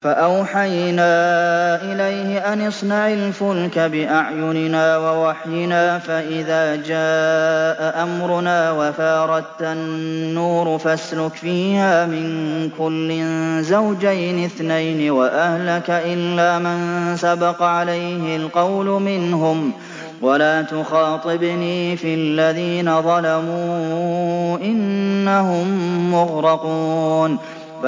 فَأَوْحَيْنَا إِلَيْهِ أَنِ اصْنَعِ الْفُلْكَ بِأَعْيُنِنَا وَوَحْيِنَا فَإِذَا جَاءَ أَمْرُنَا وَفَارَ التَّنُّورُ ۙ فَاسْلُكْ فِيهَا مِن كُلٍّ زَوْجَيْنِ اثْنَيْنِ وَأَهْلَكَ إِلَّا مَن سَبَقَ عَلَيْهِ الْقَوْلُ مِنْهُمْ ۖ وَلَا تُخَاطِبْنِي فِي الَّذِينَ ظَلَمُوا ۖ إِنَّهُم مُّغْرَقُونَ